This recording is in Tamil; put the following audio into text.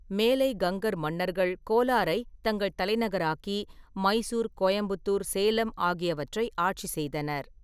மேலை கங்கர் மன்னர்கள் கோலாரைத் தங்கள் தலைநகராக்கி மைசூர், கோயம்புத்தூர், சேலம் ஆகியவற்றை ஆட்சி செய்தனர்.